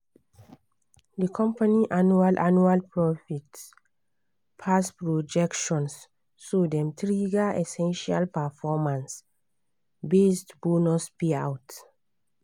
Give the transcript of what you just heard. di company annual annual profit pass projections so dem trigger essential performance-based bonus payout.